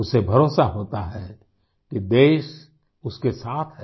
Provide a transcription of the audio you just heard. उसे भरोसा होता है कि देश उसके साथ है